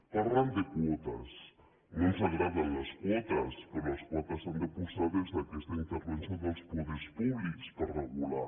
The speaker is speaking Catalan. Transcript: parlen de quotes no ens agraden les quotes però les quotes s’han de posar des d’aquesta intervenció dels poders públics per regular